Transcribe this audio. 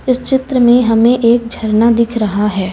इस चित्र में हमें एक झरना दिख रहा है।